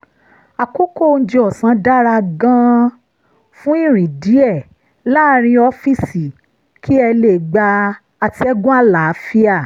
àkókò oúnjẹ ọ̀sán dára gan-an fún ìrìn díẹ̀ láàárín ọ́fíìsì kí ẹ lè gba atẹ́gùn àlàáfíà